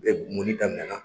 U bɛ munni daminɛ na